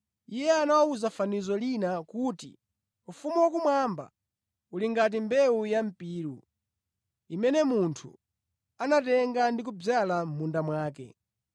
Iye anawawuza fanizo lina kuti, “Ufumu wakumwamba uli ngati mbewu ya mpiru, imene munthu anatenga ndi kudzala mʼmunda mwake.